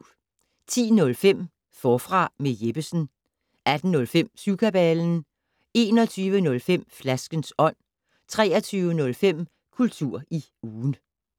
10:05: Forfra med Jeppesen 18:05: Syvkabalen 21:05: Flaskens ånd 23:05: Kultur i ugen